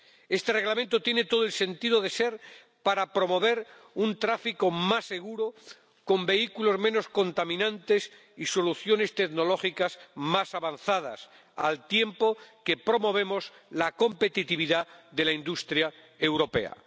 Este Reglamento tiene todo el sentido de ser para promover un tráfico más seguro con vehículos menos contaminantes y soluciones tecnológicas más avanzadas, al tiempo que promovemos la competitividad de la industria europea.